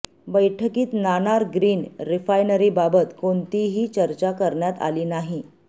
बैठकीत नाणार ग्रीन रिफायनरीबाबत कोणतीही चर्चा करण्यात आली नाही